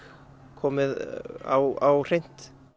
komið á hreint